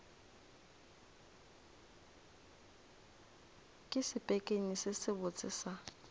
ke sepekenyi se sebotse sa